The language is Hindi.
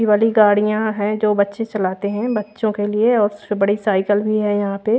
ये वाली गाड़ियां है जो बच्चे चलाते हैं बच्चों के लिए और उससे बड़ी साइकिल भी है यहां पे।